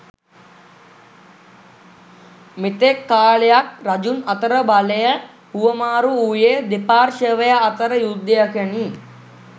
මෙතෙක් කාලයක් රජුන් අතර බලය හුවමාරු වුයේ දෙපාර්ශවය අතර යුද්ධයකිනි.